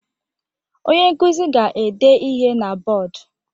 Onye nkuzi ga-ede ihe na bọọdụ.